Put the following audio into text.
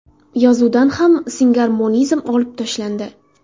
Yozuvdan ham singarmonizm olib tashlandi.